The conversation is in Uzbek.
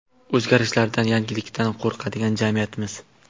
O‘zgarishlardan, yangilikdan qo‘rqadigan jamiyatmiz.